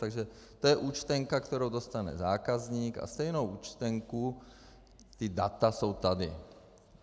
Takže to je účtenka, kterou dostane zákazník, a stejnou účtenku - ta data jsou tady.